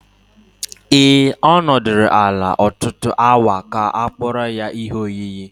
Ee, ọ nọdụrụ ala ọtụtụ awa ka a kpụrụ ya ihe oyiyi.